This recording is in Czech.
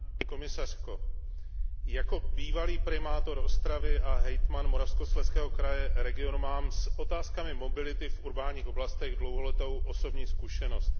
Paní komisařko, jako bývalý primátor Ostravy a hejtman Moravskoslezského kraje mám s otázkami mobility v městských oblastech dlouholetou osobní zkušenost.